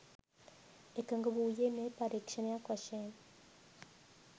එකග වූයේ මෙය පරීක්ෂණයක් වශයෙන්